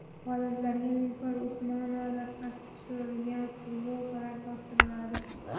G‘oliblarga Nilufar Usmonova dastxati tushirilgan futbolkalar topshiriladi.